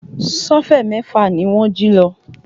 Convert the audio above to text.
Sọ́fẹ̀ mẹ́fà ni wọ́n jí lọ